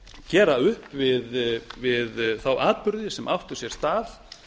gera upp við þá atburði sem áttu sér stað